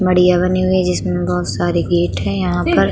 Media बनी हुई हैं जिसमे बोहोत सारे गेट हैं यहाँ पर।